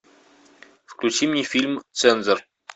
включи мне фильм цензор